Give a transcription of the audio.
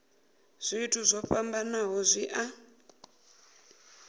zwithu zwo fhambanaho zwi a